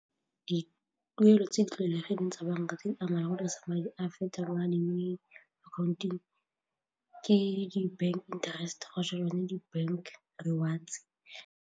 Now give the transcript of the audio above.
Dituelo tse di tlwaelegileng tsa banka tse di ama gore sa madi a afftect-a gobane mme account-eng ke di-bank interest kgotsa yone di-bank rewards.